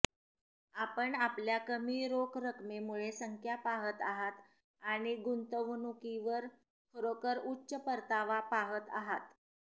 आपण आपल्या कमी रोख रकमेमुळे संख्या पाहत आहात आणि गुंतवणुकीवर खरोखर उच्च परतावा पाहत आहात